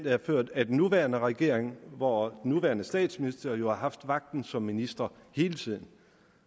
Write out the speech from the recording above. er ført af den nuværende regering hvor den nuværende statsminister jo har haft magten som minister hele tiden